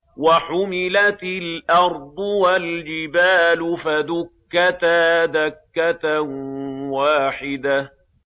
وَحُمِلَتِ الْأَرْضُ وَالْجِبَالُ فَدُكَّتَا دَكَّةً وَاحِدَةً